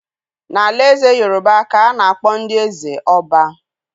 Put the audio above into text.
N'alaeze Yorùbá ka a na-akpọ ndị eze ỌBÁ.